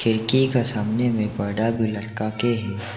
खिड़की का सामने पर्दा भी लटका के है।